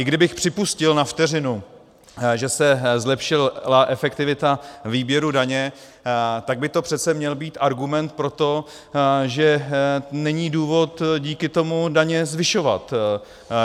I kdybych připustil na vteřinu, že se zlepšila efektivita výběru daně, tak by to přece měl být argument pro to, že není důvod díky tomu daně zvyšovat.